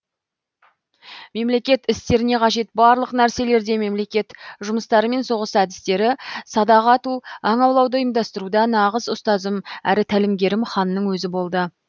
мемлекет істеріне қажет барлық нәрселерде мемлекет жұмыстары мен соғыс әдістері садақ ату аң аулауды ұйымдастыруда нағыз ұстазым әрі тәлімгерім ханның өзі болды